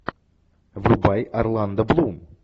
врубай орландо блум